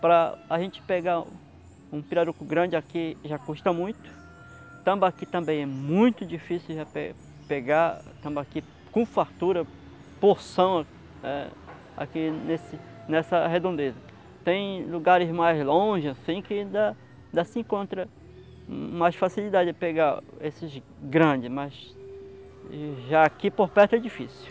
Para a gente pegar um pirarucu grande aqui já custa muito tambaqui também é muito difícil de pe pegar tambaqui com fartura, porção aqui nesse nessa redondeza. Tem lugares mais longe assim que ainda ainda se encontra mais facilidade de pegar esses grandes, mas já aqui por perto é difícil